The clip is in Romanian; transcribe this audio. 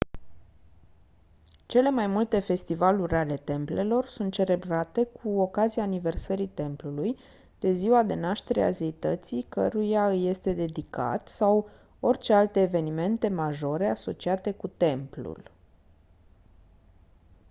cele mai multe festivaluri ale templelor sunt celebrate cu ocazia aniversării templului de ziua de naștere a zeității căruia îi este dedicat sau orice alte evenimente majore asociate cu templul